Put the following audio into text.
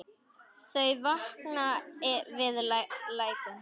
Þau vakna við lætin.